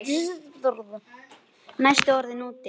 Næstum orðinn úti